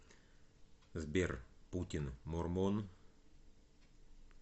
сбер путин мормон